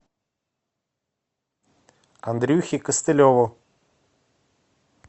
андрюхе костылеву